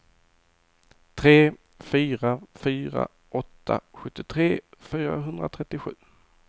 tre fyra fyra åtta sjuttiotre fyrahundratrettiosju